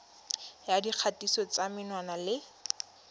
ya dikgatiso tsa menwana le